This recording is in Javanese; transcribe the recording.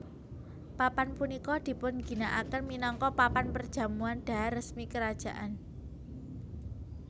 Papan punika dipun ginakaken minangka papan perjamuan dhahar resmi kerajaan